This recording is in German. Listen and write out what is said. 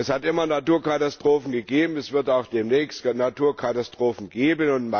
Es hat immer Naturkatastrophen gegeben, es wird auch demnächst Naturkatastrophen geben.